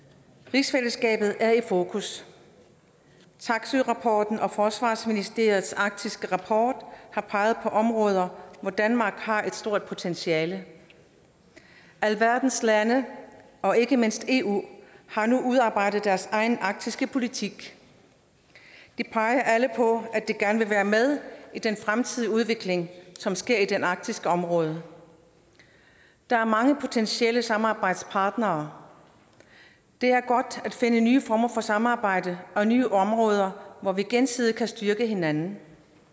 rigsfællesskabet er i fokus taksøerapporten og forsvarsministeriets arktiske rapport har peget på områder hvor danmark har et stort potentiale alverdens lande og ikke mindst eu har nu udarbejdet deres egen arktiske politik de peger alle på at de gerne vil være med i den fremtidige udvikling som sker i det arktiske område der er mange potentielle samarbejdspartnere det er godt at finde nye former for samarbejde og nye områder hvor vi gensidigt kan styrke hinanden